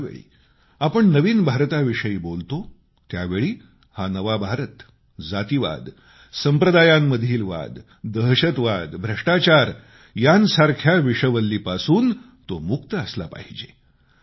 ज्यावेळी आपण नव भारताविषयी बोलतो त्यावेळी हा नवा भारत जातीवाद संप्रदायांमधील वाद दहशतवाद भ्रष्टाचार यांसारख्या विषवल्लींपासून तो मुक्त असला पाहिजे